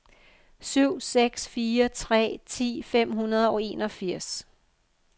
syv seks fire tre ti fem hundrede og enogfirs